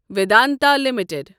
Vedanta limited